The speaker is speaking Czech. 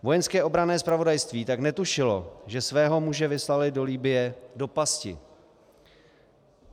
Vojenské obranné zpravodajství tak netušilo, že svého muže vyslalo do Libye do pasti.